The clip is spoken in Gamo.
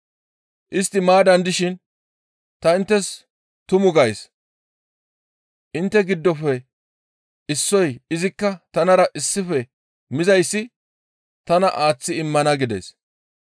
Istti maaddan dishin, «Ta inttes tumu gays; intte giddofe issoy izikka tanara issife mizayssi tana aaththi immana» gides.